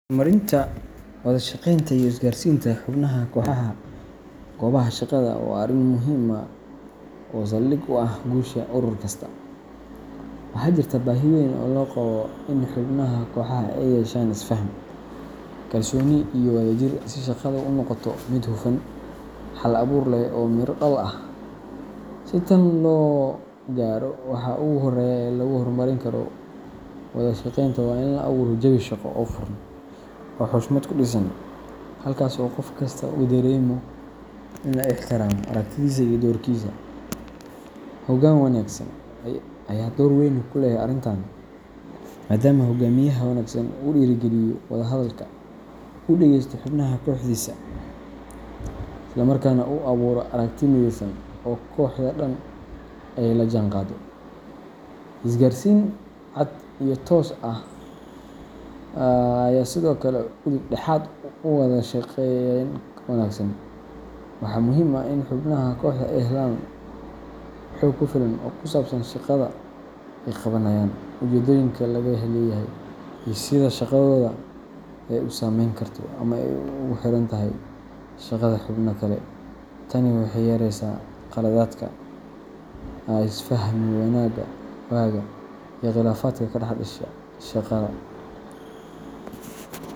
Horumarinta wada-shaqeynta iyo isgaarsiinta xubnaha kooxaha goobaha shaqada waa arrin muhiim ah oo saldhig u ah guusha urur kasta. Waxaa jirta baahi weyn oo loo qabo in xubnaha kooxaha ay yeeshaan isfaham, kalsooni iyo wadajir si shaqadu u noqoto mid hufan, hal-abuur leh, oo miro dhal ah. Si tan loo gaaro, waxa ugu horreeya ee lagu horumarin karo wada-shaqeynta waa in la abuuro jawi shaqo oo furan oo xushmad ku dhisan, halkaas oo qof kastaa uu dareemo in la ixtiraamo aragtidiisa iyo doorkiisa. Hoggaan wanaagsan ayaa door weyn ku leh arrintan, maadaama hogaamiyaha wanaagsan uu dhiirrigeliyo wada hadalka, uu dhegeysto xubnaha kooxdiisa, isla markaana uu abuuro aragti mideysan oo kooxda dhan ay la jaanqaado. Isgaarsiin cad iyo toos ah ayaa sidoo kale udub dhexaad u ah wada-shaqeyn wanaagsan. Waxaa muhiim ah in xubnaha kooxda ay helaan xog ku filan oo ku saabsan shaqada ay qabanayaan, ujeedooyinka laga leeyahay, iyo sida shaqadooda ay u saameyn karto ama ugu xirantahay shaqada xubnaha kale. Tani waxay yareyneysaa qaladaadka, isfahmi waaga, iyo khilaafaadka ka dhex dhasha shaqada.